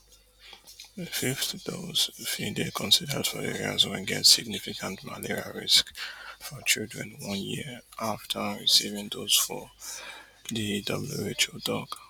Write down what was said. a fifth dose fit dey considered for areas wey get significant malaria risk for children one year afta receiving dose four di WHO tok